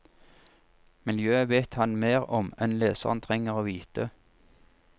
Miljøet vet han mer om enn leseren trenger å vite.